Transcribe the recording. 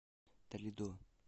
толидо